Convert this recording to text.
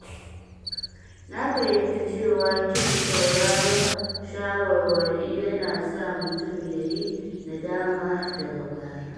Na fahimci cewa ƙin sauraron shawarwari yana sa mutum ya yi nadama daga baya.